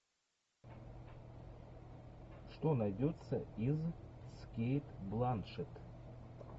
что найдется из с кейт бланшетт